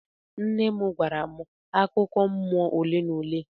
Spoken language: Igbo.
Nne nne m gwara m akụkọ mmụọ ole na ole.